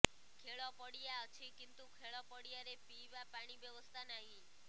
ଖେଳ ପଡିୟା ଅଛି କିନ୍ତୁ ଖେଳ ପଡିୟା ରେ ପିଇବା ପାଣି ବ୍ୟବସ୍ଥା ନାହିଁ